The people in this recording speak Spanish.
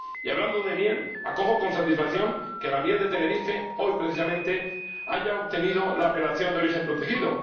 Y hablando de miel, acojo con satisfacción que la miel de Tenerife, hoy precisamente, haya obtenido la apelación de origen protegida.